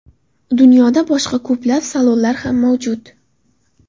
Dunyoda boshqa ko‘plab salonlar ham mavjud.